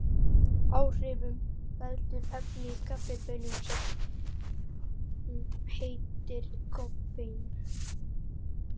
Áhrifunum veldur efni í kaffibaununum sem heitir koffein.